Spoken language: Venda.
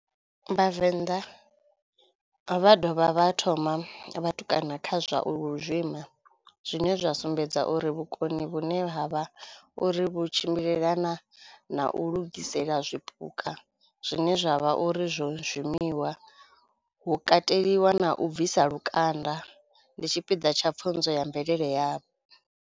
Vhavenḓa vha dovha vha thoma vhatukana kha zwa u lu zwima zwine zwa sumbedza uri vhukoni vhune ha vha uri vhu tshimbilelana na u lugisela zwipuka zwine zwavha uri zwo zwimiwa, hu kateliwa na u bvisa lukanda. Ndi tshipiḓa tsha pfunzo ya mvelele yavho.